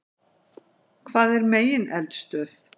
Hvað er megineldstöð?